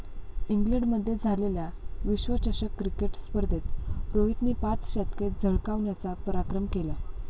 इंग्लंडमध्ये झालेल्या विश्वचषक क्रिकेट स्पर्धेत रोहितने पाच शतके झळकावण्याचा पराक्रम केला.